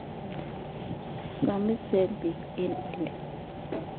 Samisen peek eng' oli